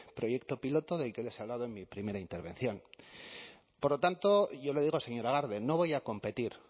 proyecto piloto del que les he hablado en mi primera intervención por lo tanto yo le digo señora garde no voy a competir